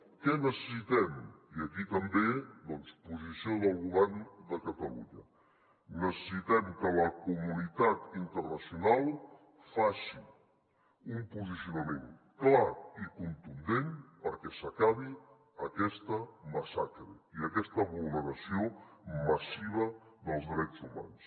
què necessitem i aquí també doncs posició del govern de catalunya necessitem que la comunitat internacional faci un posicionament clar i contundent perquè s’acabi aquesta massacre i aquesta vulneració massiva dels drets humans